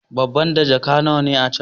Babba da jaka nawa ne a can?